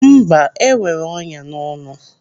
Mba, enwere ọnyá n'ọnụ.